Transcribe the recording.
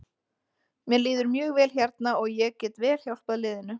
Mér líður mjög vel hérna og ég get vel hjálpað liðinu.